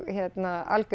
algjör